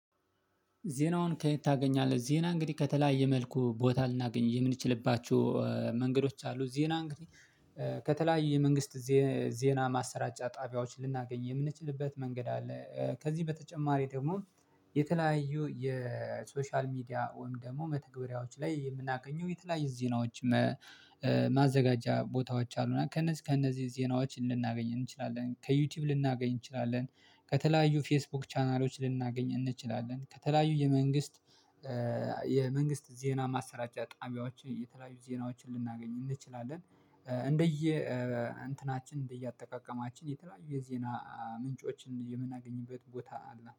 ዜናውን ከየት ታገኛለህ? ዜና እንግዲህ ከተለያየ መልኩ ቦታ ልናገኝ የምንችልባችሁ መንገዶች አሉ ዜና እንግዲህ ከተለያየ መንግስት ዜና ማሰራጫ ጣቢያዎች ልናገኝ የምንችልበት መንገድ አለ። ከዚህ በተጨማሪ ደግሞ የተለያዩ የሶሻል ሚዲያ ወይም ደግሞ መተግበሪያዎች ላይ የምናገኘው የተለያየ ዜናዎች። ማዘጋጃ ቦታዎች አሉና ከነዚህ ከነዚህ ዜናዎች ልናገኝ እንችላለን ከዩቲዩብ ልናገኝ እንችላለን። ከተለያዩ ፌስቡክ ቻናሎች ልናገኝ እንችላለን። ከተለያዩ የመንግስት የመንግስት ዜና ማሰራጫ ጣሚያዎችን የተለያዩ ዜናዎችን ልናገኝ እንችላለን። እንደየ እንትናችን እንደየአጠቃቀማችን የተለያዩ የዜና ምንጮችን የምናገኝበት ቦታ አለ